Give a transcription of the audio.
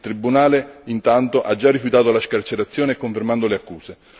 Il tribunale, intanto, ha già rifiutato la scarcerazione confermando le accuse.